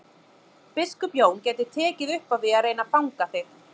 Biskup Jón gæti tekið upp á því að reyna að fanga þig.